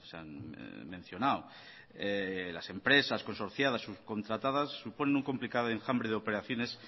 han mencionado las empresas consorciadas subcontratadas suponen un complicado enjambre de operaciones